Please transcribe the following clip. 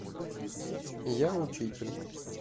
я учитель